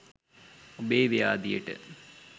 ඔබේ ව්‍යාධියට